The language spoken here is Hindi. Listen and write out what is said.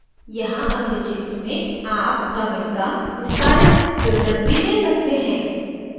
यहाँ अगले क्षेत्र में आप commit का विस्तारित विवरण भी दे सकते हैं